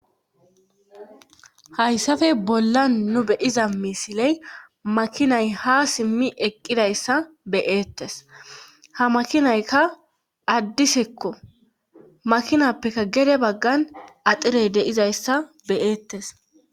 hayssafe bolla nu beyiza misiley makinay ha simmi eqqidayssa beyeettes ha makinaykka addisekko makinappekka gede baggan axirey deizayssa beyeettes